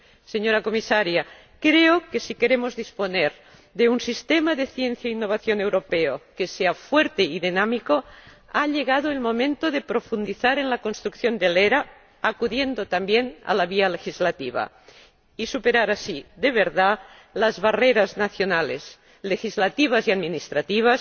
Señora Comisaria, creo que, si queremos disponer de un sistema de ciencia e innovación europeo que sea fuerte y dinámico, ha llegado el momento de profundizar en la construcción del ERA, acudiendo también a la vía legislativa, y de superar así, de verdad, las barreras nacionales, legislativas y administrativas